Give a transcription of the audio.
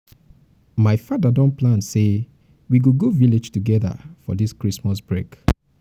my father don plan say we we go go um village together for dis christmas break.